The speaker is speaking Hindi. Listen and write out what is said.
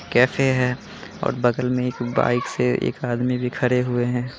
कैफ़े है और बगल में एक बाइक से एक आदमी भी खड़े हुए है।